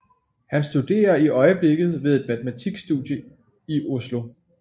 Han studerer i øjeblikket ved et matematisk studie i Oslo